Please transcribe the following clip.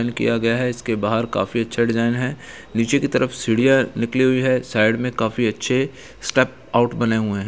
किया गया है इसके बाहर काफी अच्छा डिज़ाइन है। नीचे की तरफ सीढ़ियाँ निकली हुई है साइड में काफी अच्छे स्टेप आउट बने हुए हैं।